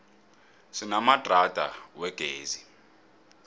sinamadrada wegezi